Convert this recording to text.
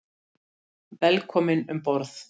Velkominn um borð.